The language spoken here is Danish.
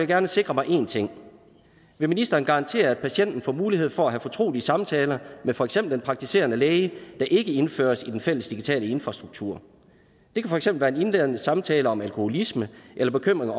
gerne sikre mig én ting vil ministeren garantere at patienten får mulighed for at have fortrolige samtaler med for eksempel den praktiserende læge der ikke indføres i den fælles digitale infrastruktur det kan for eksempel være en indledende samtale om alkoholisme eller bekymringer